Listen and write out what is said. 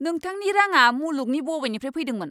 नोंथांनि राङा मुलुगनि बबेनिफ्राय फैदोंमोन?